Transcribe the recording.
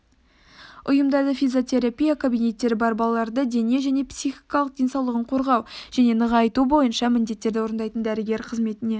ұйымдарда физиотерапия кабинеттері бар балаларды дене және психикалық денсаулығын қорғау және нығайту бойынша міндеттерді орындайтын дәрігер қызметіне